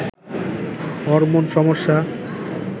hormone সমস্যা